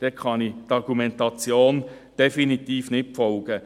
Hier kann ich der Argumentation definitiv nicht folgen.